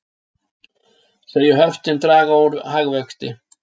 Segja höftin draga úr hagvexti